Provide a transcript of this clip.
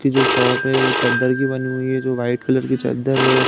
की जो शॉप है वो चद्दर की बनी हुई है जो वाइट कलर की चद्दर है और --